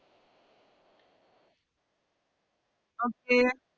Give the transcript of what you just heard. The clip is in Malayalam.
Okay